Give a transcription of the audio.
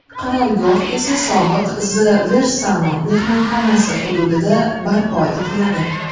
Qarorgoh esa sobiq The Varsano mehmonxonasi hududida barpo etiladi.